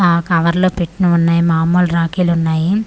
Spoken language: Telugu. ఆ కవర్ లో పెట్టినవి ఉన్నాయ్ మముల్ రాఖీలు ఉన్నాయి .